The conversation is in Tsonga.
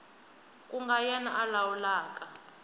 ku nga yena a lawulaka